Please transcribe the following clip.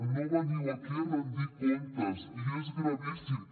no veniu aquí a rendir comptes i és gravíssim